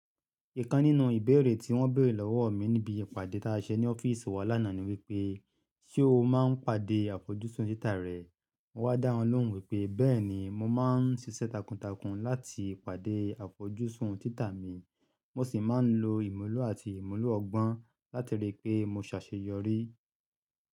Ìkan nínú ìbéèrè tí wọ́n béèrè lọ́wọ́ mi níbi ìpàdé táa ṣẹ ní ọ́fíìsì wa lánàá ni wípé, ṣe o máa ń pàdé àfojúsùn títa rẹ? Mo wá dá wọn lóhùn wípé, bẹ́ẹ̀ni mo máa ń ṣiṣẹ́ takuntakun láti pàdé àfojúsùn títa mi. Mo sì máa ń lo ìmúlò àti ìmúlò ọgbọ́n láti rí i pé mo ṣàṣeyọrí.